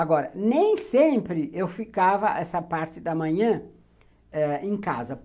Agora, nem sempre eu ficava essa parte da manhã em casa.